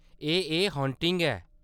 एह्‌‌ ए हान्टिंग ऐ।